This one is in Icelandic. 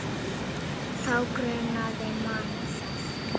Þá grunar mann það.